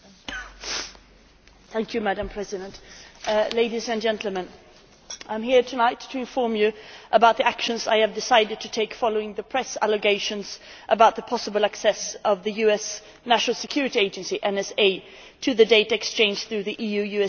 Madam President, ladies and gentlemen, I am here tonight to inform you about the actions I have decided to take following the press allegations about the possible access of the US National Security Agency to the data exchange through the EU US Terrorist Finance Tracking Programme Agreement.